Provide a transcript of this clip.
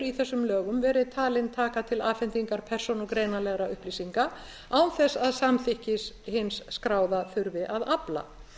í þessum lögum verið talin taka til afhendingar persónugreinanlegra upplýsinga án þess að samþykkis hins skráða þurfi að afla